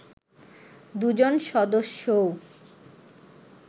দুজন সদস্যও